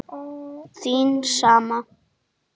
Þín sama